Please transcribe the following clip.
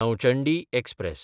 Nauchandi express